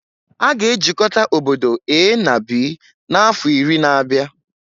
A ga-ejikọta obodo A na B n'afọ iri na-abịa